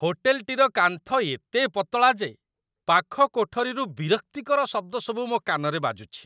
ହୋଟେଲଟିର କାନ୍ଥ ଏତେ ପତଳା ଯେ ପାଖ କୋଠରୀରୁ ବିରକ୍ତିକର ଶବ୍ଦସବୁ ମୋ କାନରେ ବାଜୁଛି।